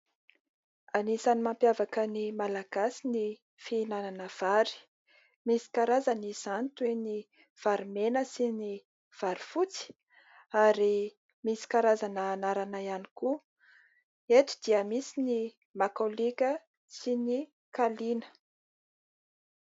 Anisan'ny mampiavaka ny Malagasy ny fihinanana vary . Misy karazany izany toy ny vary mena sy vary fotsy. Misy karazana anarana ihany koa. Eto dia misy ny makalioka sy ny kaliana.